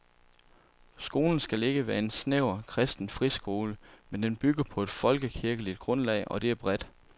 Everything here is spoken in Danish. Skolen skal ikke være en snæver, kristen friskole, men den bygger på et folkekirkeligt grundlag, og det er bredt.